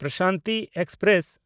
Prashanti express